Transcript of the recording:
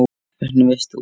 Hvernig veist þú?